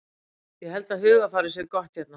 Ég held að hugarfarið sé gott hérna.